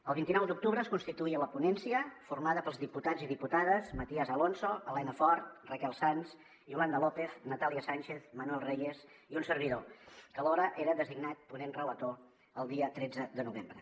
el vint nou d’octubre es constituí la ponència formada pels diputats i diputades matías alonso elena fort raquel sans yolanda lópez natàlia sànchez manuel reyes i un servidor que alhora era designat ponent relator el dia tretze de novembre